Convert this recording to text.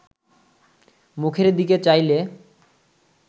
মুখের দিকে চাইলে